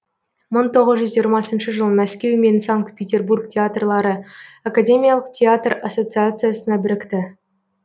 мың тоғыз жүз жиырмасыншы жылы мәскеу мен санкт петербург театрлары академиялық театр ассоциациясына бірікті